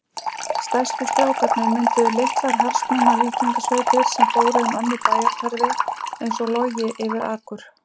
Stærstu strákarnir mynduðu litlar harðsnúnar víkingasveitir sem fóru um önnur bæjarhverfi einsog logi yfir akur.